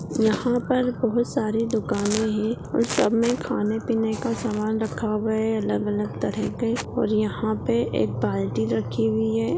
यहा पर बहुत सारे दुकाने है सब मे खाने-पीने का सामान रखा हुआ है अलग-अलग तरह के और यहां पे एक बाल्टी रखी हुई है।